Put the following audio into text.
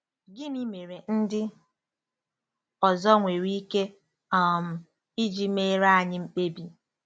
Gịnị mere ndị ọzọ nwere ike um iji meere anyị mkpebi?